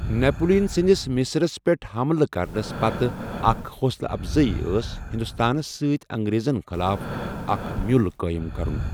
Napoleon سندِس مصرس پیٹھ حملہِ کرنس پتہٕ اكھ حوصلہٕ افضٲیی ٲس ہندوستانس سۭتۍ انگریزن خِلاف اکھ مِیوٗل قٲیِم کرُن۔